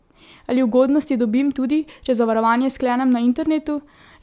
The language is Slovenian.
Ali ugodnosti dobim tudi, če zavarovanje sklenem na internetu?